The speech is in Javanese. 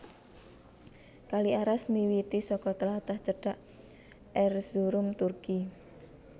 Kali Aras miwiti saka tlatah cedhak Erzurum Turki